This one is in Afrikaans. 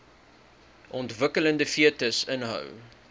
ontwikkelende fetus inhou